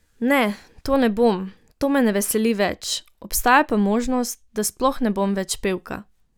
Ne, to ne bom, to me ne veseli več, obstaja pa možnost, da sploh ne bom več pevka.